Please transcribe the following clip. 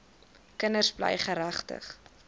kinders bly geregtig